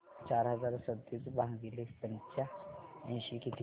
चार हजार सदतीस भागिले पंच्याऐंशी किती